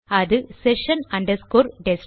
அது session destroy